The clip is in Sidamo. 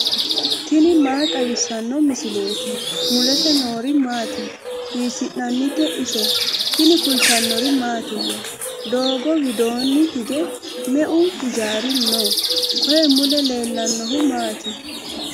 tini maa xawissanno misileeti ? mulese noori maati ? hiissinannite ise ? tini kultannori mattiya? Doogo widoonni hige meu hijjari noo? Koye mule leelannohu maati?